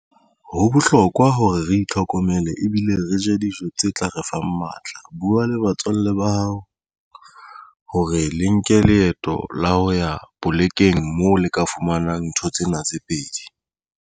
Ho bohlokwa hore re itlhokomele ebile re je dijo tse tla re fang matla buwa le batswalle ba hao hore le nke leeto la ho ya polekeng moo le ka fumanang ntho tsena tse pedi.